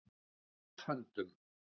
Í Guðs höndum